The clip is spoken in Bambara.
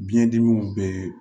Biɲɛ dimiw bɛɛ